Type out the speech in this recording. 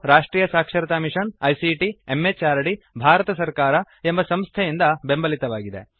ಇದು ರಾಷ್ಟ್ರಿಯ ಸಾಕ್ಷರತಾ ಮಿಷನ್ ಐಸಿಟಿ ಎಂಎಚಆರ್ಡಿ ಭಾರತ ಸರ್ಕಾರ ಎಂಬ ಸಂಸ್ಥೆಯಿಂದ ಬೆಂಬಲಿತವಾಗಿದೆ